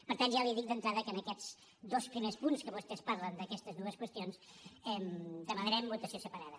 per tant ja li dic d’entrada que en aquests dos primers punts que vostès parlen d’aquestes dues qüestions demanarem votació separada